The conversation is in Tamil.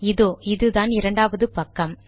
இதோ இது தான் இரண்டாவது பக்கம்